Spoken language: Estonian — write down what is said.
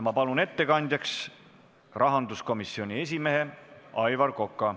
Ma palun ettekandjaks rahanduskomisjoni esimehe Aivar Koka.